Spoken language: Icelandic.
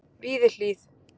Víðihlíð